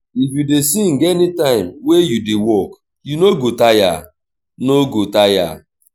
if you dey sing anytime wey you dey work you no go tire. no go tire.